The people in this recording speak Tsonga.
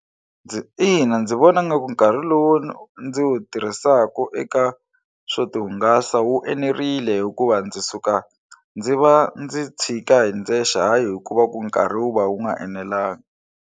Ina, ndzi vona nga ku nkarhi lowu ndzi wu tirhisaku eka swo tihungasa wu enerile hikuva ndzi suka ndzi va ndzi tshika hi ndzexe hayi hikuva ku nkarhi wu va wu nga enelangi.